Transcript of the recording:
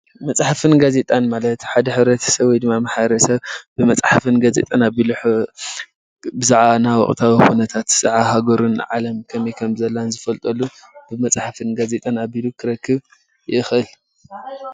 መፅሓፍትን ጋዜጣን ማለት ሓደ ሕብረተ ሰብ ወይድማ ማሕበረሰብ ብመፅሓፍን ጋዜጣን ኣቢሎም ብዛዕባ ወቅታዊ ነገራት ብዛዕባ ሃገሮም ዓለም ከመይ ከም ዘላን ዝፈልጠሉን ብመፅሓፍን ጋዜጣን ኣቢሉ ክረክብ ይክእል፡፡